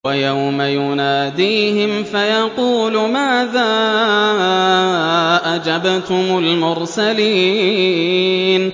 وَيَوْمَ يُنَادِيهِمْ فَيَقُولُ مَاذَا أَجَبْتُمُ الْمُرْسَلِينَ